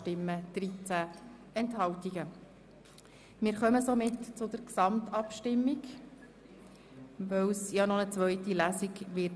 Wir kommen somit zur Gesamtabstimmung, weil es noch eine zweite Lesung geben wird.